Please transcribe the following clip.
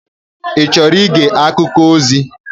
Ị chọrọ ige akụkọ ozi?